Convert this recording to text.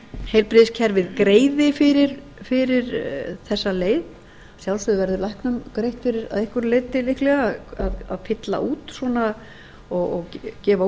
heilbrigðiskerfið greiði fyrir þessa leið að sjálfsögðu verður læknum greitt fyrir að einhverju leyti líklega að fylla út svona og gefa